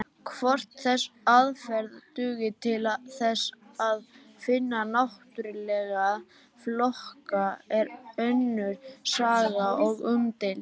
Hvort þessi aðferð dugi til þess að finna náttúrlega flokka er önnur saga og umdeild.